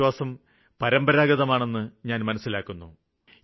ഈ വിശ്വാസം പരമ്പരാഗതമാണെന്ന് ഞാന് മനസ്സിലാക്കുന്നു